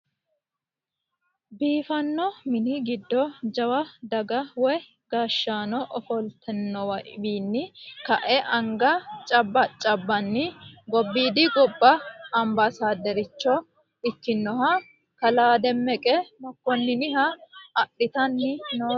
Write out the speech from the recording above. Biifano minni giddo jawwa dagga woyi gaashanni offolitinowinni ka'e anigga cabacabani gobbidi gobba amibasaderichcha ikinoha kalaa demeqe mekoneniha adhittani nooreti